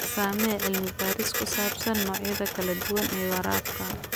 Samee cilmi baaris ku saabsan noocyada kala duwan ee waraabka.